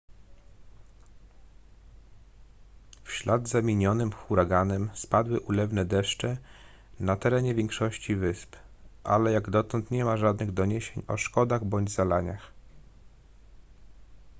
w ślad za minionym huraganem spadły ulewne deszcze na terenie większości wysp ale jak dotąd nie ma żadnych doniesień o szkodach bądź zalaniach